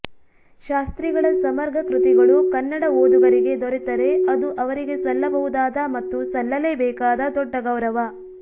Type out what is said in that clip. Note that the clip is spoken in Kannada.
ಶಾಸ್ತ್ರಿಗಳ ಸಮಗ್ರ ಕೃತಿಗಳು ಕನ್ನಡ ಓದುಗರಿಗೆ ದೊರೆತರೆ ಅದು ಅವರಿಗೆ ಸಲ್ಲಬಹುದಾದ ಮತ್ತು ಸಲ್ಲಲೇಬೇಕಾದ ದೊಡ್ಡ ಗೌರವ